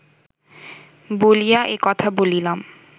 বলিয়া এ কথা বলিলাম